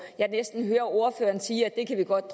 jeg næsten hører ordføreren sige at vi godt